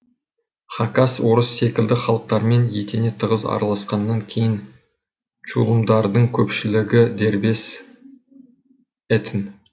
хакас орыс секілді халықтармен етене тығыз араласқаннан кейін чулымдардың көпшілігі дербес этн